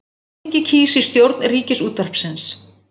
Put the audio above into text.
Alþingi kýs í stjórn Ríkisútvarpsins